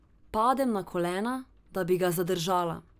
Padem na kolena, da bi ga zadržala.